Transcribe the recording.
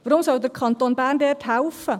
Warum soll der Kanton Bern dort helfen?